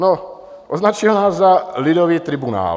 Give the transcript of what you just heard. No, označil nás za lidový tribunál.